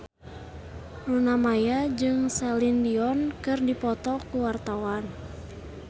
Luna Maya jeung Celine Dion keur dipoto ku wartawan